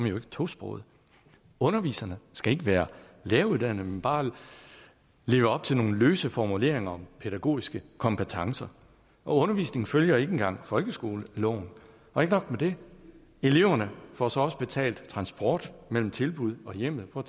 jo ikke tosproget underviserne skal ikke være læreruddannede men bare leve op til nogle løse formuleringer om pædagogiske kompetencer og undervisningen følger ikke engang folkeskoleloven og ikke nok med det eleverne får så også betalt transport mellem tilbuddet og hjemmet prøv